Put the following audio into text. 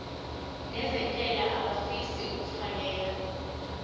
nezentela abafisa uukfakela